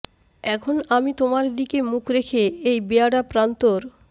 এখন আমি তোমার দিকে মুখ রেখে এই বেয়াড়া প্রান্তর